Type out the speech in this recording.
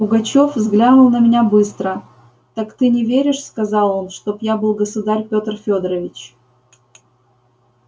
пугачёв взглянул на меня быстро так ты не веришь сказал он чтоб я был государь пётр фёдорович